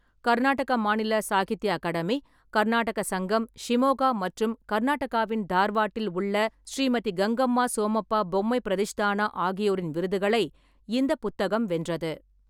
கர்நாடக மாநில சாகித்ய அகாடமி, கர்நாடக சங்கம், ஷிமோகா மற்றும் கர்நாடகாவின் தார்வாட்டில் உள்ள ஸ்ரீமதி கங்கம்மா சோமப்பா பொம்மை பிரதிஷ்தானா ஆகியோரின் விருதுகளை இந்த புத்தகம் வென்றது.